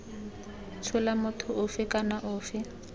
tshola motho ofe kana ofe